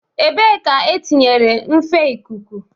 Ebee ka etinyere nfe ikuku?